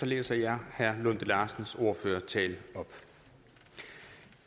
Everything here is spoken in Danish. læser jeg herre lunde larsens ordførertale op